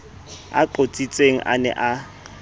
a qotsitsweng a ne a